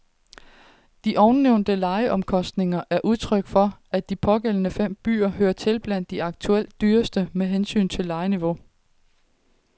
De ovennævnte lejeomkostninger er udtryk for, at de pågældende fem byer hører til blandt de aktuelt dyreste med hensyn til lejeniveau.